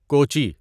Kochi